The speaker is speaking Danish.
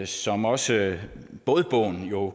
som også bådbogen